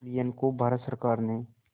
कुरियन को भारत सरकार ने